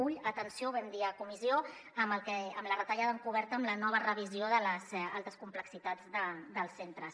alerta atenció ho vam dir a la comissió amb la retallada encoberta amb la nova revisió de les altes complexitats dels centres